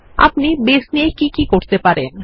আপনি বাসে নিয়ে কি কি করতে পারেন